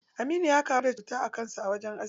Aminu ya kamu da cuta a kan sa a wajen aski.